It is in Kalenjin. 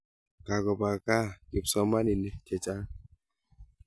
Kakopa kaa kipsomaninik chechang'